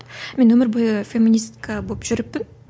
мен өмір бойы феминистка болып жүріппін